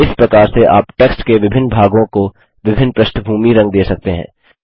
इस प्रकार से आप टेक्स्ट के विभिन्न भागों को विभिन्न पृष्ठभूमी रंग दे सकते हैं